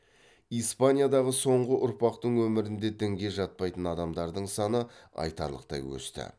испаниядағы соңғы ұрпақтың өмірінде дінге жатпайтын адамдардың саны айтарлықтай өсті